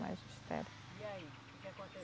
Magistério. E aí, o que